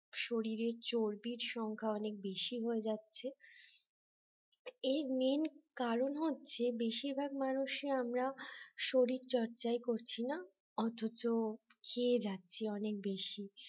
শরীরের চর্বির সংখ্যা অনেক বেশি হয়ে যাচ্ছে এর মেইন কারণ হচ্ছে বেশিরভাগ মানুষই আমরা শরীরচর্চায় করছি না অথচ খেয়ে যাচ্ছি অনেক বেশি